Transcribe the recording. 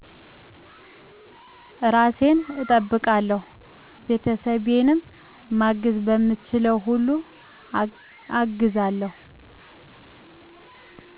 እራሴን እጠብቃለሁ ቤተሰቤንም ማገዝ በምችለው ሁሉ አግዛለሁ